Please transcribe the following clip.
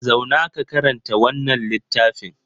Zauna ka karanta wannan littafin!